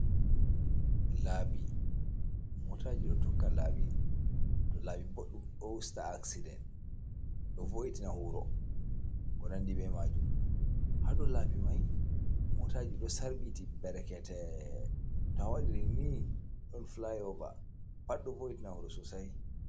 Labi motaji ɗo tokka labi, to labi ɓoɗɗum ɗo usta accident, ɗo voiti na wuro, konandi be majum, ha dou labi mai motaji ɗo sarbiti berekete to a waɗiri ni ɗon flyoba pat ɗo voiti na wuro sosai.